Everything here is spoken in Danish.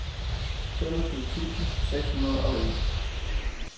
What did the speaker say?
femogtyve tusind seks hundrede og en